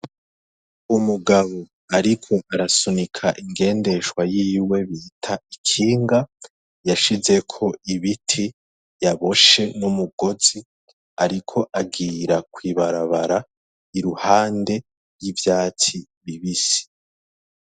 Umugabo, ariko arasunika ingendeshwa yiwe bita ikinga yashizeko ibiti yaboshe n'umugozi, ariko agira kwibarabara iruhande y'ivyatsi bibisi.